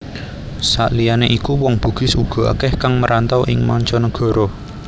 Saliyane iku wong Bugis uga akeh kang merantau ing mancanegara